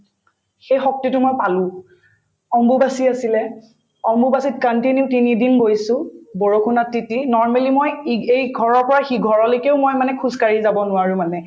সেই শক্তিতো মই পালো অম্বুবাচী আছিলে অম্বুবাচীত continue তিনিদিন গৈছো বৰষুণত তিতি normally মই ই‍গ এই ঘৰৰ পৰা সি ঘৰলৈকেও মই মানে খোজকাঢ়ি যাব নোৱাৰো মানে